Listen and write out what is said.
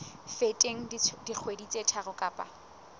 feteng dikgwedi tse tharo kapa